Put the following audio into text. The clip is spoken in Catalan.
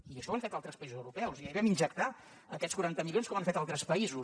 i això ho han fet altres països europeus i ahir vam injectar aquests quaranta milions com han fet altres països